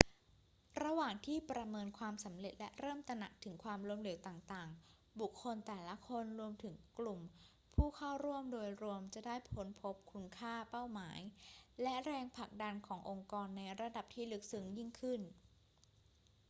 ระหว่างที่ประเมินความสำเร็จและเริ่มตระหนักถึงความล้มเหลวต่างๆ บุคคลแต่ละคน รวมถึงกลุ่มผู้เข้าร่วมโดยรวมจะได้ค้นพบคุณค่า เป้าหมาย และแรงผลักดันขององค์กรในระดับที่ลึกซึ้งยิ่งขึ้น